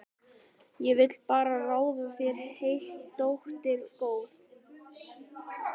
Ég vil bara ráða þér heilt, dóttir góð.